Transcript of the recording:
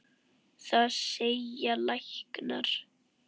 Það segja læknar.